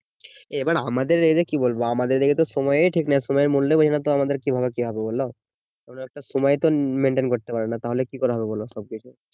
এবার আমাদের এদিকে কি বলবো আমাদের এদিকে সময়ের ঠিক নেই সময় এর মূল্য বোঝে না তো আমাদের কি ভাবে কি হবে বোলো কোনো একটা সময় একটা maintain করতে পারে না তাহলে কি করে হবে বোলো সবকিছু